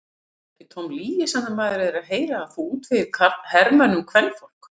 Er það ekki tóm lygi sem maður er að heyra að þú útvegir hermönnunum kvenfólk?